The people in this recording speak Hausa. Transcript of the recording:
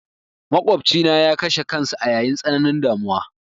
Maƙofcina ya kashe kansa a yayin tsananin damuwa.